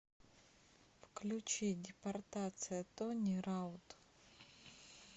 включи депортация тони раут